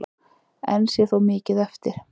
Enn sé þó mikið eftir.